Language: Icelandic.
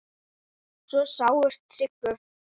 Svo sástu Siggu.